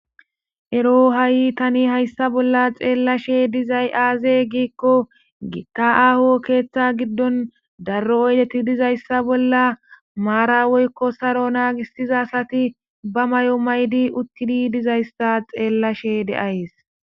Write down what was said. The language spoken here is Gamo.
Ero ha'i tan haysan bollan xelishe dizay aze gikko gita aho keta gidon daro uydeti dizaysa bolla maran woyko saro nagisiza asati ba mayo mayidi utidi dizaysa xelishe de'ayis